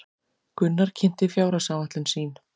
Gunnar kynnti fjárhagsáætlun sín